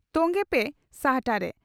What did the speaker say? ᱛᱚᱝᱜᱮ ᱯᱮ ᱥᱟᱦᱴᱟᱨᱮ ᱹᱹᱹᱹᱹ